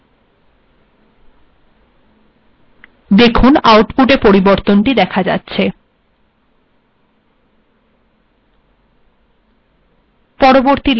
compile করা যাক দেখুন আউটপুটে দেখা যাচ্ছে a bএর থেকে বড় a bএর থেকে ড় অথবা b এর সমান a bএর থেকে অনেক বড়